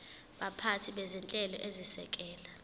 baphathi bezinhlelo ezisekela